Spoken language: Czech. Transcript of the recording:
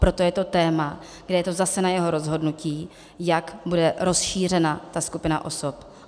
Proto je to téma, kde je to zase na jeho rozhodnutí, jak bude rozšířena ta skupina osob.